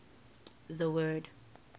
the word